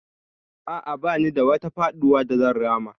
A'a, ba ni da wata faɗuwa da zan rama.